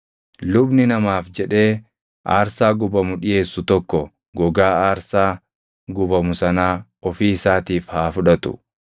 Lubni namaaf jedhee aarsaa gubamu dhiʼeessu tokko gogaa aarsaa gubamu sanaa ofii isaatiif haa fudhatu.